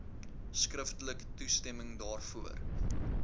skriftelik toestemming daarvoor